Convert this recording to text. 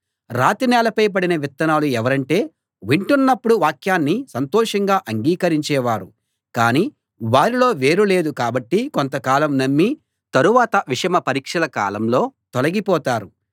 రాతి నేలపై పడిన విత్తనాలు ఎవరంటే వింటున్నప్పుడు వాక్యాన్ని సంతోషంగా అంగీకరించే వారు కానీ వారిలో వేరు లేదు కాబట్టి కొంతకాలం నమ్మి తరువాత విషమ పరీక్షల కాలంలో తొలగిపోతారు